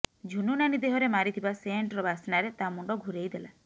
ଝୁନୁ ନାନୀ ଦେହରେ ମାରିଥିବା ସେଣ୍ଟ୍ର ବାସ୍ନାରେ ତା ମୁଣ୍ଡ ଘୁରେଇ ଦେଲା